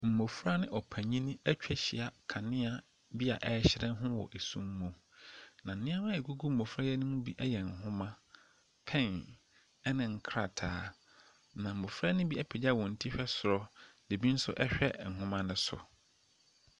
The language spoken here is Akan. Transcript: Mmɔfra ne ɔpanin atwa ahyia kanea bi a ɛrehyerɛn ho wɔ sum, na nneɛma a ɛguɛgu mmɔfra yi anim bi yɛ nwoma, pɛn na nkrataa. Na mmɔfra no bi apagya wɔn ti hwɛ soro na ebi nso hwɛ nwoma no so.